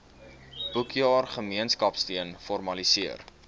boekjaar gemeenskapsteun formaliseer